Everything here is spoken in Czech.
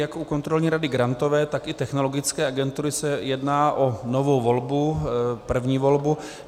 Jak u Kontrolní rady Grantové, tak i Technologické agentury se jedná o novou volbu, první volbu.